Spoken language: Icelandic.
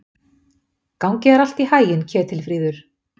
Gangi þér allt í haginn, Ketilfríður.